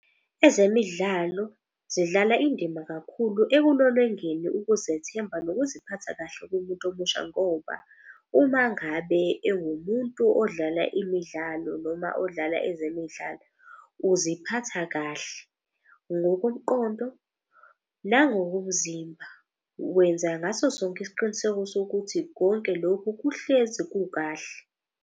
Ezemidlalo zidlala indima kakhulu ekulolongeni ukuzethemba nokuziphatha kahle kumuntu omusha. Ngoba uma ngabe ewumuntu odlala imidlalo noma odlala ezemidlalo uziphatha kahle. Ngokomqondo, nangokomzimba, wenza ngaso sonke isiqiniseko sokuthi konke lokhu kuhlezi kukahle.